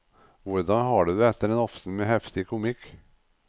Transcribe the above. Hvordan har du det etter en aften med heftig komikk?